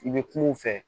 I bɛ kuma u fɛ